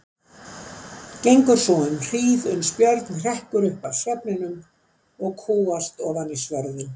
Gengur svo um hríð, uns Björn hrekkur upp af svefninum og kúgast ofan í svörðinn.